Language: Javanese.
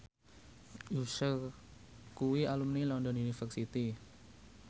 Usher kuwi alumni London University